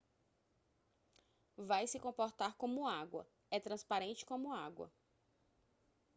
vai se comportar como água é transparente como água